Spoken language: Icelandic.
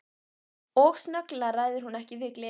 Og snögglega ræður hún ekki við gleði sína.